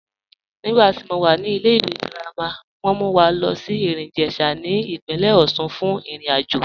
Nígbàtí mó wà ní ìlẹ̀-ìwé girama, wọn mú wà lọ sí Erin-Ijesha ní ipìnlẹ̀ Òṣun fún ìrìn-àjọ